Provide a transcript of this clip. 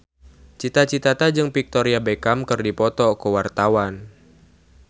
Cita Citata jeung Victoria Beckham keur dipoto ku wartawan